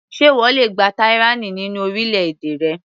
Ṣé ìwọ le gba tyranny nínú orílẹ̀-èdè rẹ.